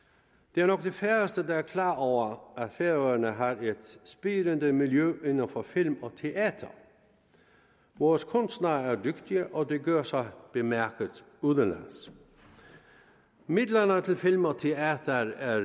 det er nok de færreste der er klar over at færøerne har et spirende miljø inden for film og teater vores kunstnere er dygtige og de gør sig bemærkede udenlands midlerne til film og teater er